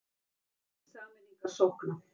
Hvetur til sameiningar sókna